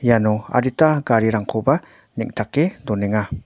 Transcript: iano adita garirangkoba neng·take donenga.